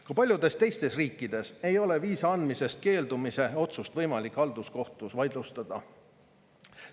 Ka paljudes teistes riikides ei ole viisa andmisest keeldumise otsust võimalik halduskohtus vaidlustada.